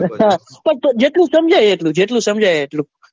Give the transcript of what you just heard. અચ્છા તો જેટલું સમજાય એટલું જેટલું સમજાય એટલું,